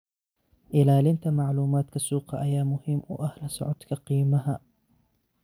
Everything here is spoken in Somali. Ilaalinta macluumaadka suuqa ayaa muhiim u ah la socodka qiimaha.